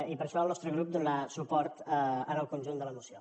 i per això el nostre grup donarà suport al conjunt de la moció